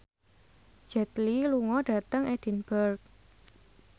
Jet Li lunga dhateng Edinburgh